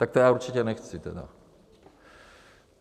Tak to já určitě nechci tedy.